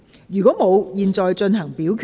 如果沒有，現在進行表決。